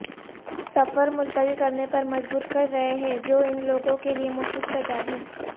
سفر ملتوی کرنے پر مجبور کر رہے ہیں جو ان لوگوں کے لئے مفید تجاویز